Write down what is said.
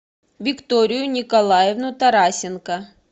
викторию николаевну тарасенко